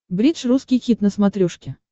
бридж русский хит на смотрешке